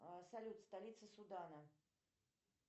салют столица судана